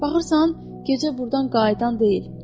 Baxırsan, gecə burdan qayıdan deyil.